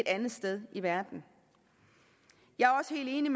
andet sted i verden jeg er også helt